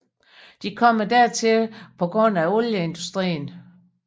De kommer dertil på grund af olieindustrien